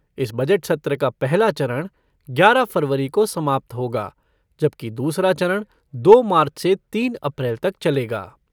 इस बजट सत्र का पहला चरण ग्यारह फ़रवरी को समाप्त होगा, जबकि दूसरा चरण दो मार्च से तीन अप्रैल तक चलेगा।